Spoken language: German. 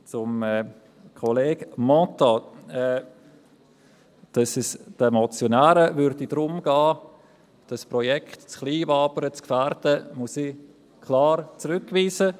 Zu Kollege Mentha: Dass es den Motionären darum gehe, das Projekt in Kleinwabern zu gefährden, muss ich klar zurückweisen: